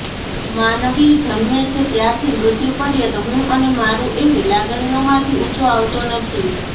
માનવી જન્મ છે ત્યારથી મૃત્યુ પર્યત હું અને મારૃં એવી લાગણીઓમાંથી ઉંચો આવતો નથી